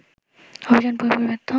অভিযান পুরোপুরি ব্যর্থ